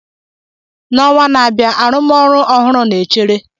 N'ọnwa na-abịa, arụmọrụ ọhụrụ na-echere.